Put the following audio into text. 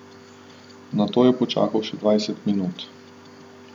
Nato je počakal še dvajset minut.